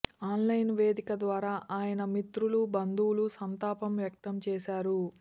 online వేదిక ద్వారా ఆయన మిత్రులు బంధువులు సంతాపం వ్యక్తం చేశారు